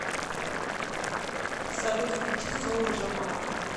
салют включи соло джамала